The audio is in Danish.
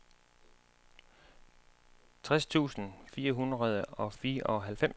tres tusind fire hundrede og fireoghalvfems